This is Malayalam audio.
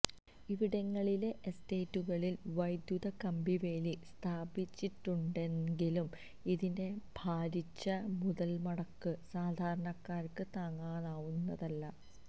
ഇവിടങ്ങളിലെ എസ്റ്റേറ്റുകളില് വൈദ്യൂത കമ്പിവേലി സ്ഥാപിച്ചിട്ടുണ്ടെങ്കിലും ഇതിന്റെ ഭാരിച്ച മുതല്മുടക്ക് സാധാരണക്കാര്ക്ക് താങ്ങാവുന്നതല്ല